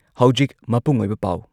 ꯍꯧꯖꯤꯛ ꯃꯄꯨꯡ ꯑꯣꯏꯕ ꯄꯥꯎ ꯫